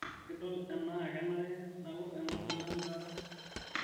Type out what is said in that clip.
idol enaa kenare nalo aing'or filamu taata